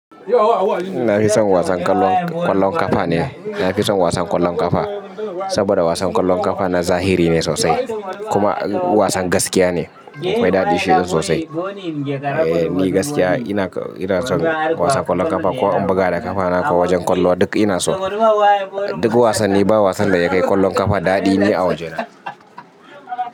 Nafi son wasan ƙwallon ƙafa ne. Nafi son wasan ƙwallon ƙafa saboda wasan ƙwallon ƙafa na zahiri ne sosai kuma wasan gaskiya ne. Akwai daɗi shi sosai. Eh me gaskiya ina ina son wasan ƙwallon ƙafa ko in buga da ƙafa na ko wajen ƙwallo duk ina so. Duk wasanni ba wasan da ya kai ƙwallon ƙafa daɗi ne a wajena.